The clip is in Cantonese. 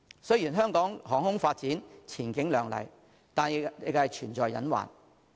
雖然香港航空業發展前景亮麗，但仍存在隱患。